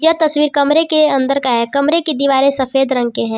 तस्वीर कमरे के अंदर का है कमरे की दीवारें सफेद रंग के है।